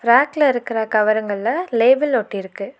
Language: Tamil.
ரேக்ல இருக்குற கவருங்கள்ல லேபிள் ஒட்டிருக்கு.